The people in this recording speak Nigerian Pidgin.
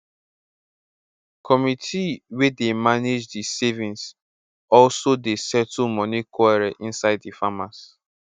committee wey dey mange di savings also dey settle moni quarrel inside di farmers